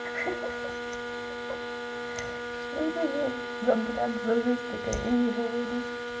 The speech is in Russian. ха-ха что это за блядь за жизнь такая и не говори